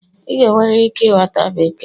Ị ga-enwerịrị ike ịghọta Bekee